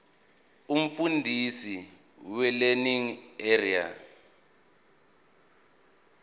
umfundisi welearning area